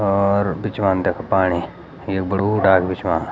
और बिचवान तख पाणी ये बडू डाक बिच वां।